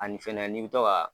Ani fɛnɛ n'i bɛ to ka